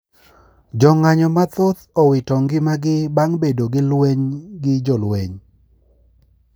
Jo ng`anyo mathoth owito ngima gii bang` bedo gi lweny gi jolweny